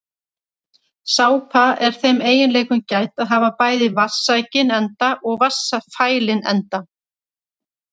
Sápa er þeim eiginleikum gædd að hafa bæði vatnssækinn enda og vatnsfælinn enda.